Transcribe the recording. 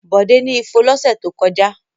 Bọ̀dé ni ifo lọ́sẹ̀ tó kọjá.